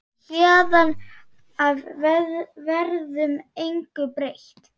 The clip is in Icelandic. Héðan af verður engu breytt.